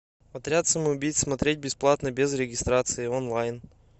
отряд самоубийц смотреть бесплатно без регистрации онлайн